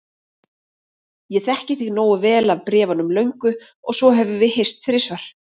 Ég þekki þig nógu vel af bréfunum löngu og svo höfum við hist þrisvar.